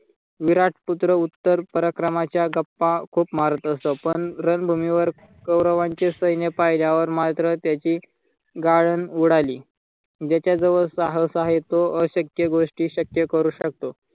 विराट पुत्र उत्तर पराक्रमाच्या गप्पा खूप मारत असतो पण रणभूमीवर कौरवांचे सैन्य पाहिल्यावर मात्र त्याची गाळण उडाली ज्याच्या जवळ साहस आहे तो अशक्य गोष्टी शक्य करू शकतो.